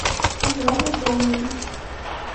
яна домнина